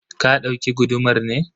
ka dauki gudumar ne?